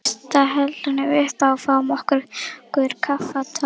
Fyrst hellum við uppá og fáum okkur kaffitár.